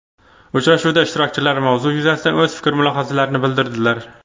Uchrashuvda ishtirokchilar mavzu yuzasidan o‘z fikr-mulohazalarini bildirdilar.